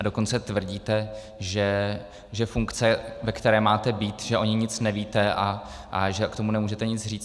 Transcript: A dokonce tvrdíte, že funkce, ve které máte být, že o ní nic nevíte a že k tomu nemůžete nic říct.